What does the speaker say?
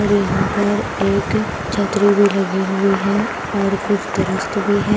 और यहां पर एक छतरी भी लगी हुई है और कुछ दरख्त भी है।